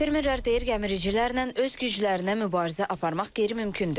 Fermerlər deyir gəmiricilərlə öz güclərinə mübarizə aparmaq qeyri-mümkündür.